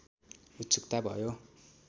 उत्सुकता भयो